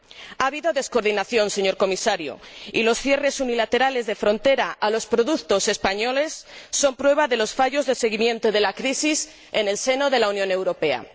Ha habido descoordinación, señor Comisario, y los cierres unilaterales de frontera a los productos españoles son prueba de los fallos de seguimiento de la crisis en el seno de la Unión Europea.